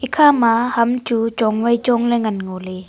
kha ma ham chu chong wai chong le ngan ngo ley.